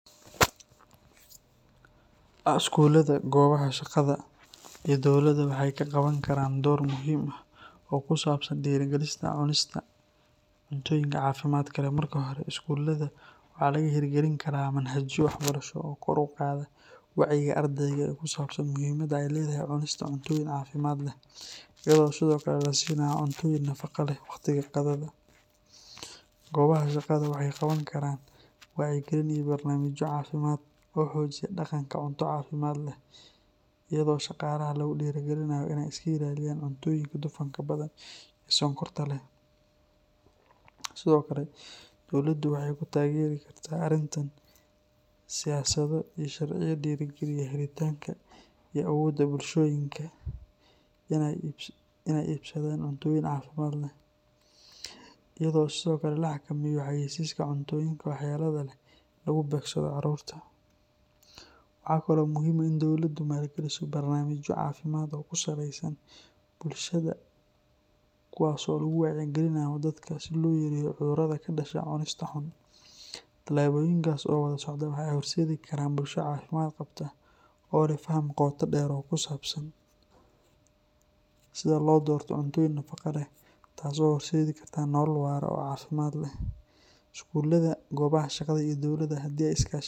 Skulada, goobaha shaqada iyo dowladdu waxay ka qaban karaan door muhiim ah oo ku saabsan dhiirrigelinta cunista cuntooyinka caafimaadka leh. Marka hore, iskuulada waxaa laga hirgelin karaa manhajyo waxbarasho oo kor u qaada wacyiga ardayda ee ku saabsan muhiimadda ay leedahay cunista cuntooyin caafimaad leh, iyadoo sidoo kale la siinayo cuntooyin nafaqo leh waqtiga qadada. Goobaha shaqada waxay qaban karaan wacyigelin iyo barnaamijyo caafimaad oo xoojiya dhaqanka cunto caafimaad leh, iyadoo shaqaalaha lagu dhiirrigelinayo inay iska ilaaliyaan cuntooyinka dufanka badan iyo sonkorta leh. Sidoo kale, dowladdu waxay ku taageeri kartaa arrintan siyaasado iyo sharciyo dhiirrigeliya helitaanka iyo awoodda bulshooyinka inay iibsadaan cuntooyin caafimaad leh, iyadoo sidoo kale la xakameeyo xayeysiiska cuntooyinka waxyeelada leh ee lagu beegsado caruurta. Waxaa kaloo muhiim ah in dowladdu maalgeliso barnaamijyo caafimaad oo ku saleysan bulshada kuwaas oo lagu wacyigelinayo dadka si loo yareeyo cudurrada ka dhasha cunista xun. Tallaabooyinkaas oo wada socda waxay horseedi karaan bulsho caafimaad qabta oo leh faham qoto dheer oo ku saabsan sida loo doorto cuntooyin nafaqo leh, taas oo u horseedi karta nolol waara oo caafimaad leh. Skulada, goobaha shaqada iyo dowladdu haddii ay iska kaashadaan.